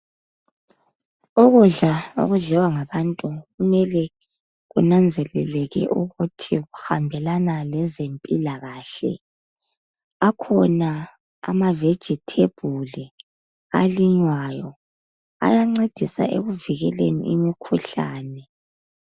Ukudla okudliwa ngabantu kumele kunanzelekele ukuthi kuhambelana lezempilakahle. Akhona amavegithebhuli alinywayo ayancedisa ekuvikeleni imikhuhlane.